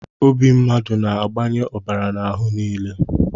Obi mmadụ na-agbanye ọbara n'ahụ nile